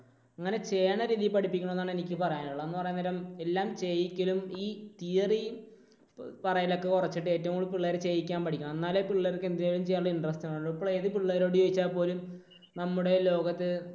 അങ്ങനെ ചെയ്യണ രീതിയിൽ പഠിപ്പിക്കണം എന്നാണ് എനിക്ക് പറയാനുള്ളത്. എന്ന് പറയാൻ നേരം എല്ലാം ചെയ്യിക്കലും ഈ theory പറയൽ ഒക്കെ കുറച്ചിട്ട് ഏറ്റവും കൂടുതൽ പിള്ളേരെ ചെയ്യിക്കാൻ പഠിപ്പിക്കണം. എന്നാലേ പിള്ളേർക്ക് എന്തെങ്കിലും ചെയ്യാനുള്ള interest കാണുകയുള്ളൂ. ഇപ്പോൾ ഏത് പിള്ളേരോട് ചോദിച്ചാൽ പോലും നമ്മുടെ ലോകത്ത്